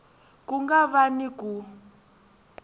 ku nga va ni ku